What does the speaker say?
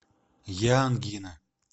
я ангина